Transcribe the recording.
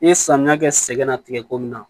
N ye samiya kɛ sɛgɛn na tigɛ ko min na